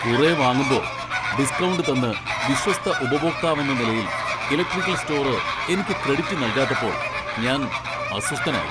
കുറെ വാങ്ങുമ്പോ ഡിസ്ക്കൗണ്ട് തന്ന് വിശ്വസ്ത ഉപഭോക്താവെന്ന നിലയിൽ ഇലക്ട്രിക്കൽ സ്റ്റോർ എനിക്ക് ക്രെഡിറ്റ് നൽകാത്തപ്പോൾ ഞാൻ അസ്വസ്ഥനായി.